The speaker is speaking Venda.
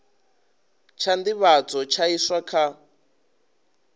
tsha nḓivhadzo tsha iswa kha